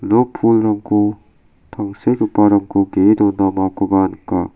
pulrangko tangsekgiparangko ge·e dondamakoba nika.